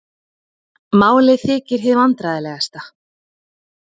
Málið þykir hið vandræðalegasta